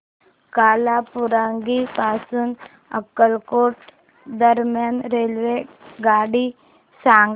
कालाबुरागी पासून अक्कलकोट दरम्यान रेल्वेगाडी सांगा